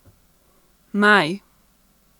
Naj!